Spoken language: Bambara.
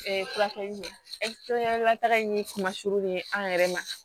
furakɛlilata in kuma suru ni an yɛrɛ ma